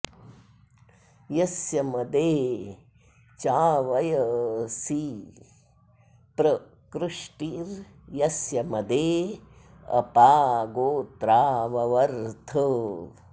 यस्य॒ मदे॑ च्या॒वय॑सि॒ प्र कृ॒ष्टीर्यस्य॒ मदे॒ अप॑ गो॒त्रा व॒वर्थ॑